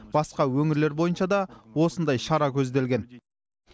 басқа өңірлер бойынша да осындай шара көзделген